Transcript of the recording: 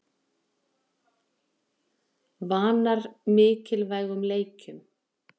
Vanar mikilvægum leikjum